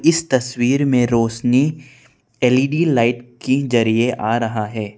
इस तस्वीर में रोशनी एल_इ_डी लाइट की जरिए आ रहा है।